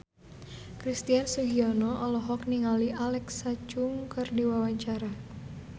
Christian Sugiono olohok ningali Alexa Chung keur diwawancara